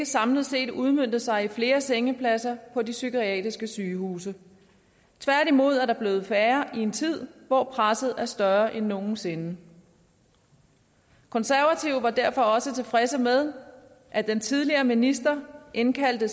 samlet set ikke udmøntet sig i flere sengepladser på de psykiatriske sygehuse tværtimod er der blevet færre i en tid hvor presset er større end nogen sinde konservative var derfor også tilfredse med at den tidligere minister indkaldte